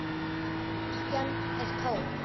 Kirkjan er tóm.